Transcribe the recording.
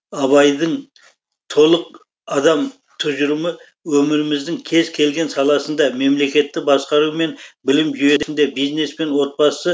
абайдың толық адам тұжырымы өміріміздің кез келген саласында мемлекетті басқару мен білім жүйесінде бизнес пен отбасы